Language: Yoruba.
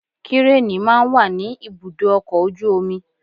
Kírènì máa ń wà ní ibùdó ọkọ̀ ojú omi